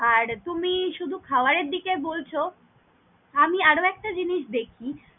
আর তুমি শুধু খাবার এর দিকে বলছ, আমি আর একটা জিনিস দেখি।